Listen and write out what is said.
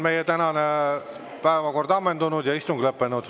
Meie tänane päevakord on ammendatud ja istung lõppenud.